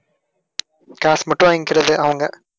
காசு மட்டும் வாங்கிக்கிறது அவங்க.